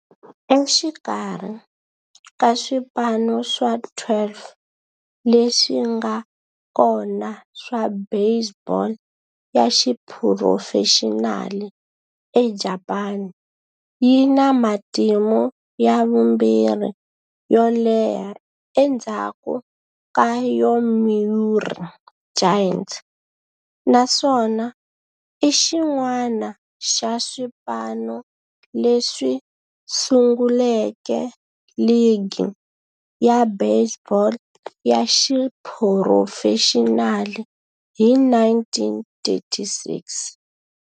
Exikarhi ka swipano swa 12 leswi nga kona swa baseball ya xiphurofexinali eJapani, yi na matimu ya vumbirhi yo leha endzhaku ka Yomiuri Giants, naswona i xin'wana xa swipano leswi sunguleke ligi ya baseball ya xiphurofexinali hi 1936.